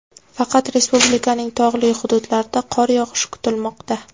Faqat respublikaning tog‘li hududlarida qor yog‘ishi kutilmoqda.